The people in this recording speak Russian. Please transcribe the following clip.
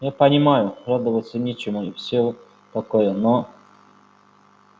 я понимаю радоваться нечему и все такое но